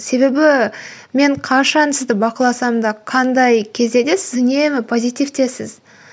себебі мен қашан сізді бақыласам да қандай кезде де сіз үнемі позитивтесіз